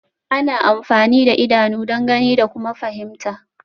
Ana amfani da idanu don gani da kuma fahimta